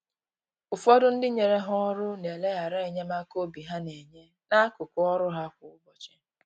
Ụfọdụ ndị nyere ha ọrụ na eleghara enyemaka obi ha na-enye, n’akụkụ ọrụ ha kwa ụbọchị.